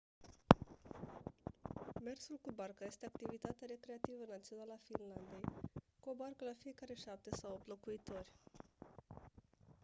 mersul cu barca este activitatea recreativă națională a finlandei cu o barcă la fiecare șapte sau opt locuitori